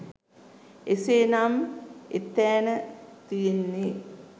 එසේනම් එතෑන තියෙන්නේ